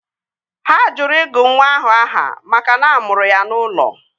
Ha jụrụ ịgụ nwa ahụ aha makana a mụrụ ya n'ụlọ